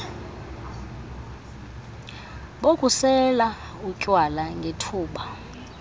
bokusela utywala ngethuba